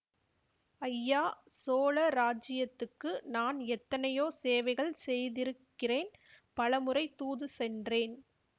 ஐயா சோழ ராஜ்யத்துக்கு நான் எத்தனையோ சேவைகள் செய்திருக்கிறேன் பல முறை தூது சென்றேன்